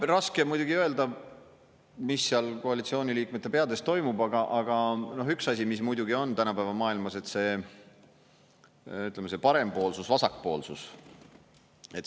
Noh, raske on muidugi öelda, mis seal koalitsiooniliikmete peades toimub, aga üks asi, mis muidugi on tänapäeva maailmas: ütleme, see parempoolsus, vasakpoolsus.